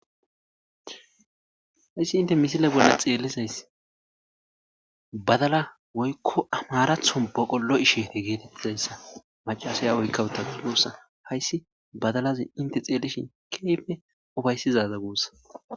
hayssi inte misile bolla xeelizays badala woykko amaaratho boqolo7ishi geetettizayssa macasaya woykkawuta goossa hayssi badalazi inte xeellishin keyfe ofayssizaza goossa